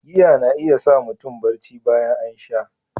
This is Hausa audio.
Giya na iya sa mutum barci bayan an sha.